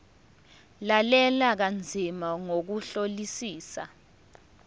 lalela kanzima ngokuhlolisisa